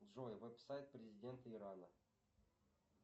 джой веб сайт президента ирана